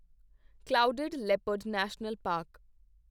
clouded leopard national park